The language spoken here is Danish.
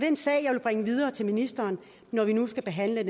en sag jeg vil bringe videre til ministeren når vi nu skal behandle